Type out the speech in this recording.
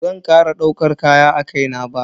Bazan kara daukar kaya a kai na ba.